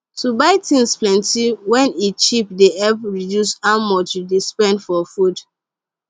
to buy thing plenty wen e cheap dey help reduce how much you dey spend for food